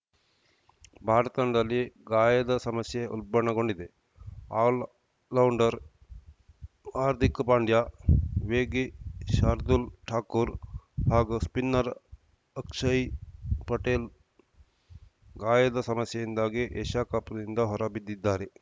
ಭಾರತ ತಂಡದಲ್ಲಿ ಗಾಯದ ಸಮಸ್ಯೆ ಉಲ್ಬಣಗೊಂಡಿದೆ ಆಲ್ ಲೌವ್ಣ್ಡರ್ ಹಾರ್ದಿಕ್‌ ಪಾಂಡ್ಯ ವೇಗಿ ಶಾರ್ದೂಲ್‌ ಠಾಕೂರ್‌ ಹಾಗೂ ಸ್ಪಿನ್ನರ್‌ ಅಕ್ಷಯ್ ಪಟೇಲ್‌ ಗಾಯದ ಸಮಸ್ಯೆಯಿಂದಾಗಿ ಏಷ್ಯಾಕಪ್‌ನಿಂದ ಹೊರಬಿದ್ದಿದ್ದಾರೆ